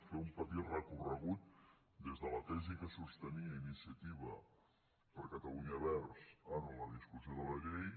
fer un petit recorregut des de la tesi que sostenia ini·ciativa per catalunya verds en la discussió de la llei